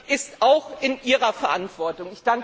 Das ist auch in Ihrer Verantwortung.